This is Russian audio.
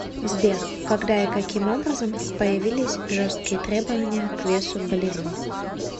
сбер когда и каким образом появились жесткие требования к весу балерин